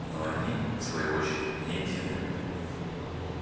но и они в свою очередь не едины